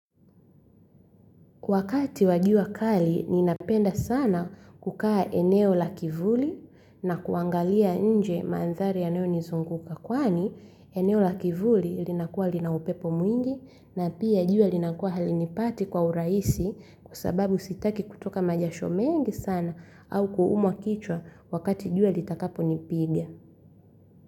Wakati wa jua kali, ninapenda sana kukaa eneo la kivuli na kuangalia nje mandhari yanayo nizunguka. Kwani, eneo la kivuli linakuwa linaupepo mwingi na pia juwa linakuwa halinipati kwa urahisi kwa sababu sitaki kutoka majasho mengi sana au kuumwa kichwa wakati jua litakaponipiga.